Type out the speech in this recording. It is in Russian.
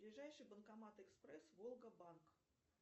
ближайший банкомат экспресс волга банк